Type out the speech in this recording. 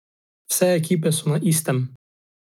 Vse ekipe so na istem.